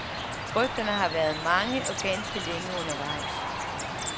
Rygterne har været mange, og ganske længe undervejs.